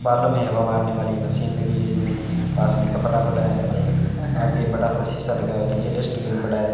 बालों में हवा मारने वाली मशीन लगी है पास में कपड़ा पड़ा है और आगे बड़ा सा शीशा लगा हुआ है नीचे डस्टबिन पड़ा है।